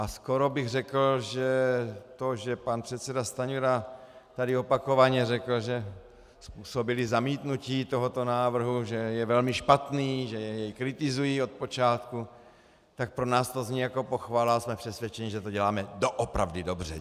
A skoro bych řekl, že to, že pan předseda Stanjura tady opakovaně řekl, že způsobili zamítnutí tohoto návrhu, že je velmi špatný, že jej kritizují od počátku, tak pro nás to zní jako pochvala a jsme přesvědčeni, že to děláme doopravdy dobře.